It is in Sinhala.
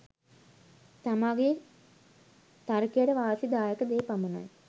තමාගේ තර්කයට වාසි දායක දේ පමණයි